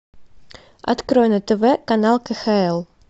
открой на тв канал кхл